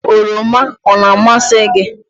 oroma o na-amasị gị?